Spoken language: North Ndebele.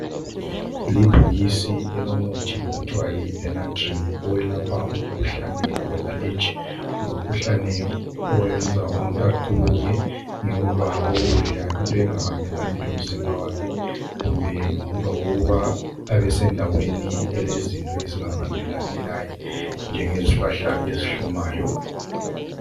Libhokisi elomuthi okuthiwa yi, "Benadryl", owelapha umkhuhlane we aleji. Ngumkhuhlane Owenza umuntu aqubuke njengoba ukudla into engahambelani lomzimba wakhe kumbe ngemva kokuba abesendaweni elezinto ezingahambelani laye njengezihlahla ezihlumayo.